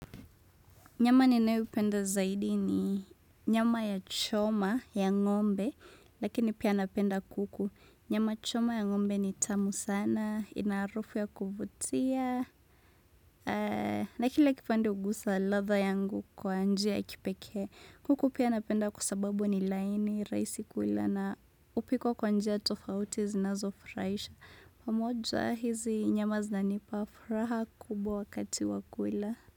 Nyama ninayoipenda zaidi ni nyama ya choma, ya ngombe, lakini pia napenda kuku. Nyama choma ya ngombe ni tamu sana, ina harufu ya kuvutia, na kila kipande hugusa ladha yangu kwa njia ya kipekee. Kuku pia napenda kwa sababu ni laini, rahisi kula na hupikwa kwa njia tofauti zinazofurahisha. Pamoja hizi nyama zinanipa furaha kubwa wakati wa kula.